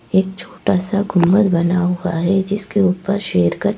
एक छोटा सा गुंभर बना हुआ है जिसके ऊपर शेर का--